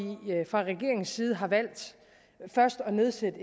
fra regeringens side har valgt først at nedsætte